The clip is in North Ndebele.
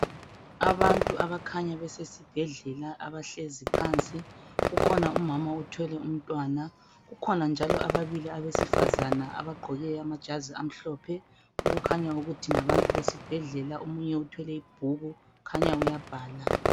Abantu abakhanya besesibhedlela abahlezi phansi kukhona umama othwele umntwana. Kukhona njalo ababili abesifazana abagqoke amajazi amhlophe. Okukhanya ukuthi ngabantu besibhedlela omunye uthwele ibhuku khanya uyabhala.